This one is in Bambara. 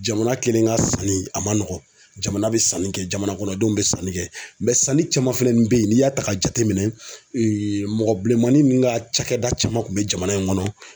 Jamana kelen ka sanni a man nɔgɔn jamana bɛ sanni kɛ jamana kɔnɔdenw bɛ sanni kɛ sanni caman fɛnɛ bɛ yen n'i y'a ta k'a jateminɛ mɔgɔ bilenmanin ka cakɛda caman kun bɛ jamana in kɔnɔ